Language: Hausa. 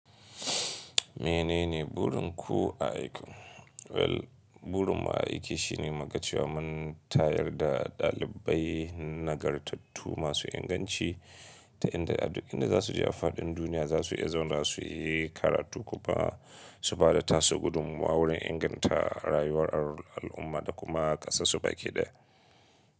Menene burin ku aiki? Well, burin mu aiki shi ne muga cewa. Mun tayar da ɗalibai nagartattu masu inganci ta inda, aduk za su je afaɗin duniya za su iya zaune, za su yi karatu kuma su ba da tasu gudummuwa wurin inganta rayuwar al'umma da kuma ƙasarsu baƙe ɗaya.